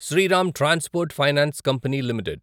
Sriram transport finance company limited